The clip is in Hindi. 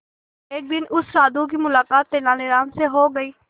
एक दिन उस साधु की मुलाकात तेनालीराम से हो गई